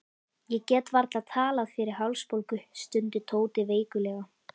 Ég get varla talað fyrir hálsbólgu, stundi Tóti veiklulega.